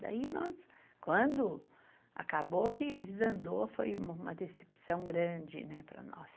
Daí nós, quando acabou que desandou, foi uma decepção grande né para nós.